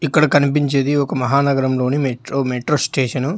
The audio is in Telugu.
ఇక్కడ కనిపించేది ఒక మహానగరంలోని మెట్రో మెట్రో స్టేషన్ .